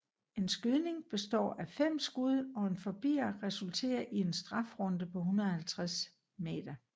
En skydning består af fem skud og en forbier resulterer i en strafrunde på 150 m